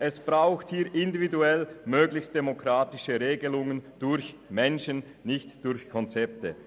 Es braucht hier individuell möglichst demokratische Regelungen durch Menschen, nicht durch Konzepte.